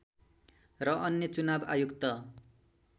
र अन्य चुनाव आयुक्त